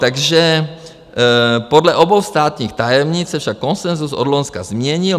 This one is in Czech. Takže podle obou státních tajemnic se však konsenzus od loňska změnil.